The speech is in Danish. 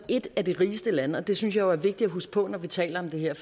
et af de rigeste lande og det synes jeg jo er vigtigt at huske på når vi taler om det her